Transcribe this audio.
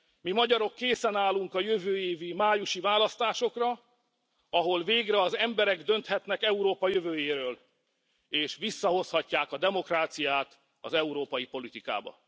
Mi, magyarok készen állunk a jövő évi májusi választásokra, ahol végre az emberek dönthetnek Európa jövőjéről, és visszahozhatják a demokráciát az európai politikába.